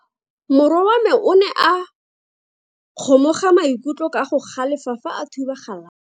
Morwa wa me o ne a kgomoga maikutlo ka go galefa fa a thuba galase.